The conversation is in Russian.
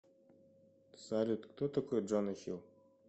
салют кто такой джона хилл